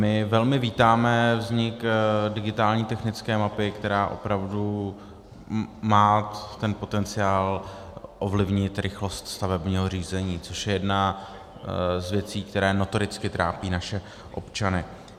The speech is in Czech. My velmi vítáme vznik digitální technické mapy, která opravdu má ten potenciál ovlivnit rychlost stavebního řízení, což je jedna z věcí, které notoricky trápí naše občany.